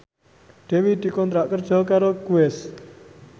Dewi dikontrak kerja karo Guess